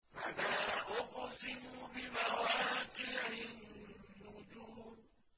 ۞ فَلَا أُقْسِمُ بِمَوَاقِعِ النُّجُومِ